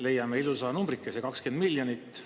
Leiame ilusa numbrikese: 20 miljonit.